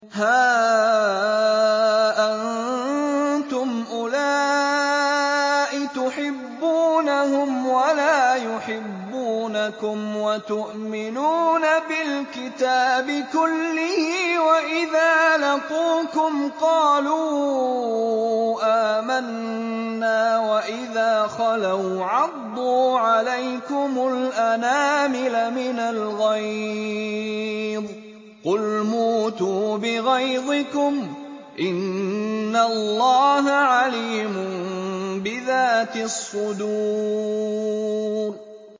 هَا أَنتُمْ أُولَاءِ تُحِبُّونَهُمْ وَلَا يُحِبُّونَكُمْ وَتُؤْمِنُونَ بِالْكِتَابِ كُلِّهِ وَإِذَا لَقُوكُمْ قَالُوا آمَنَّا وَإِذَا خَلَوْا عَضُّوا عَلَيْكُمُ الْأَنَامِلَ مِنَ الْغَيْظِ ۚ قُلْ مُوتُوا بِغَيْظِكُمْ ۗ إِنَّ اللَّهَ عَلِيمٌ بِذَاتِ الصُّدُورِ